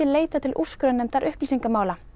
leitað til úrskurðarnefndar upplýsingamála